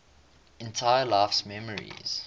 entire life's memories